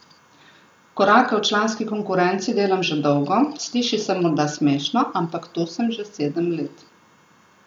Korake v članski konkurenci delam že dolgo, sliši se morda smešno, ampak tu sem že sedem let.